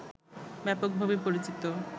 ব্যাপকভাবে পরিচিত